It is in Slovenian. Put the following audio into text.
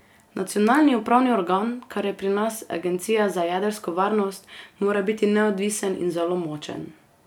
Nacionalni upravni organ, kar je pri nas agencija za jedrsko varnost, mora biti neodvisen in zelo močen.